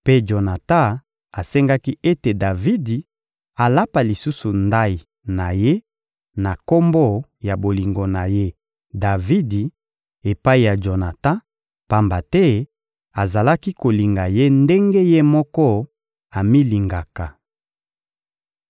Mpe Jonatan asengaki ete Davidi alapa lisusu ndayi na ye na kombo ya bolingo na ye Davidi epai ya Jonatan, pamba te azalaki kolinga ye ndenge ye moko amilingaka.